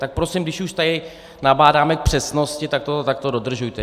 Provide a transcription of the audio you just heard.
Tak prosím, když už tady nabádáme k přesnosti, tak to dodržujte.